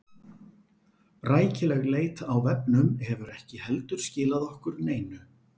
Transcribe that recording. Rækileg leit á vefnum hefur ekki heldur skilað okkur neinu.